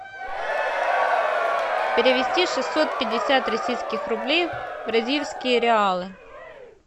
перевести шестьсот пятьдесят российских рублей в бразильские реалы